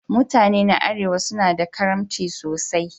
Mutane na Arewa suna da karimci sosai.